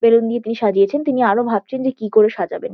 Balloon দিয়ে তিনি সাজিয়েছেন। তিনি আরও ভাবছেন যে কি করে সাজাবেন।